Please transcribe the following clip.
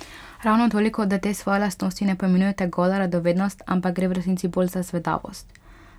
Ravno toliko, da te svoje lastnosti ne poimenujete gola radovednost, ampak gre v resnici bolj za zvedavost?